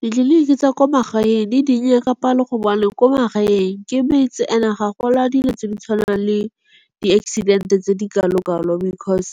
Ditleliniki tsa kwa magaeng di dinnye ka palo gobane ko magaeng ke metse ene ga gona dilo tse di tshwanang le di-accident-e tse di ka lokalokalo. Because